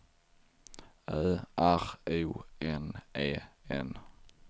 Ö R O N E N